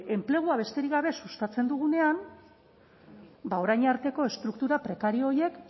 enplegua besterik gabe sustatzen dugunean ba orain arteko estruktura prekario horiek